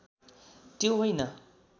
त्यो होइन